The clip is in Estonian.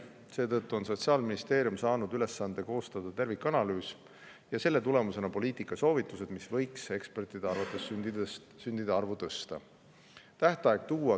Seetõttu on Sotsiaalministeerium saanud ülesande koostada tervikanalüüs ja selle tulemusena poliitikasoovitused, mis ekspertide arvates võiksid sündide arvu tõsta.